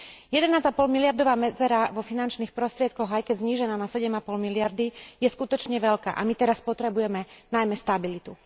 Jedenásť a pol miliardová medzera vo finančných prostriedkoch, aj keď znížená na 7,5 miliardy, je skutočne veľká a my teraz potrebujeme najmä stabilitu.